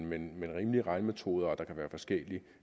men men rimelige regnemetoder og der kan være forskelligt